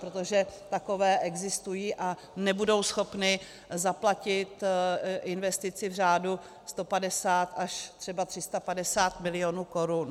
Protože takové existují a nebudou schopny zaplatit investici v řádu 150 až třeba 350 milionů korun.